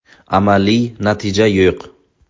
Amaliy natija yo‘q”.